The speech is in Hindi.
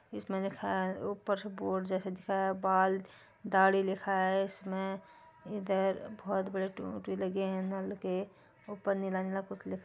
इसमें लिखा है ऊपर से बोर्ड जैसा दिख रहा है बाल दाड़ी लिखा है इसमें इधर बहुत बड़ी टूटी लगे है नल के ऊपर नीला - नीला कुछ लिख --